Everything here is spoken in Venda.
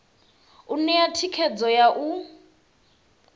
u ṋea thikhedzo ya u